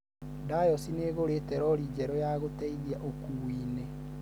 dayosi nĩĩgũrĩte rori njeru ya gũteithia ũkuuinĩ